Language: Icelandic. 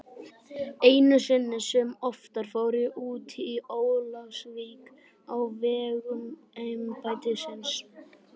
Einu sinni sem oftar fór ég út í Ólafsvík á vegum embættisins.